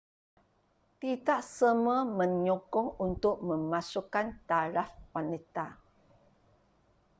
tidak semua menyokong untuk memasukkan taraf wanita